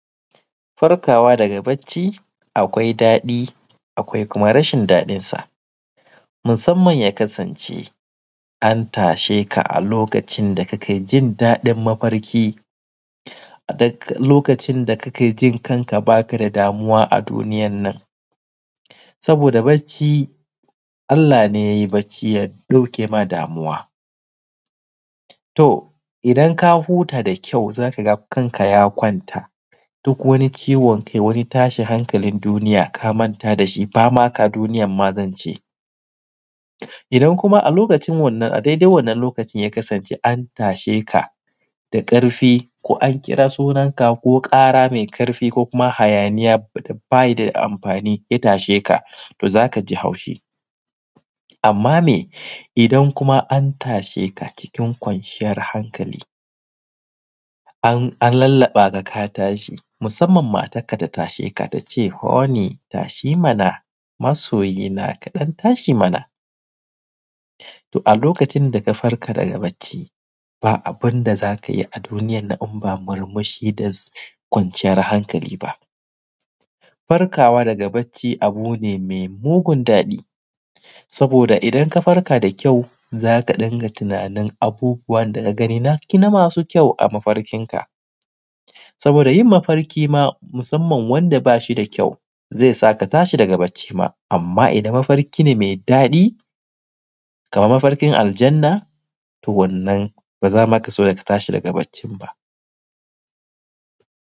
Farkawa daga bacci akwai daɗi akwai kuma rashi daɗin sa, musamman ya kasance an tasheka a lokacin da kakai jin daɗin mafarki a duk lokacin da kakejin kanka baka da damuwa a duniyan nan. Saboda bacci Allah ne yayi bacci ya ɗakema damuwa to idan huta dakau zaka ga kanka ya kwanta duk wani ciwon kai wani tashin hankalin duniya kamanta dashi bamaka duniyan mazance. Idan kuma a dai dai wanna lokacin ya kasance an tashe da ƙafki ko an kira sunan ka ko ƙara mai ƙafi ko kuma hayaniya da bayi da amfani ya tashe ka to zakaji daɗi. Amma me idan kuma an tashe ka cikin kwanciyan hankali an lallaɓaka ka tashi musamman matan ka tasheka tace honi tashi mana masoyina kaɗan tashi mana, to a lokacin daka farka daga bacci ba abunda zakayi a duniyan nan inba murmushi da kwanciyar hankali ba. Farkawa daga bacci abune mai mugun daɗi saboda idan ka farka da kyau zaka dunga tunanin abubuwan da kagani na masu kyau a mafarkin ka saboda yinmafarki ma musamman wanda bashi da kyau zaisa ka tashi daga bacci ba, amma idan mafarki ne mai kyau Kaman mafarkin Aljannah wannan bazama kaso ka tashi daga baccin ba.